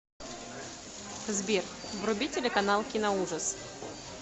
сбер вруби телеканал киноужас